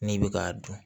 N'i bɛ k'a dun